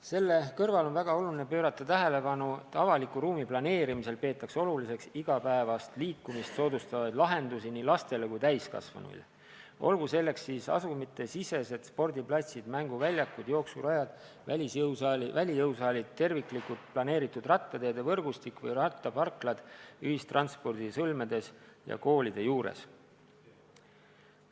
Selle kõrval on väga oluline pöörata tähelepanu, et avaliku ruumi planeerimisel peetaks oluliseks igapäevast liikumist soodustavaid lahendusi nii lastele kui ka täiskasvanuile, olgu nendeks siis asumitesisesed spordiplatsid, mänguväljakud, jooksurajad, välijõusaalid, terviklikult planeeritud rattateede võrgustik või rattaparklad ühistranspordisõlmedes ja koolide juures.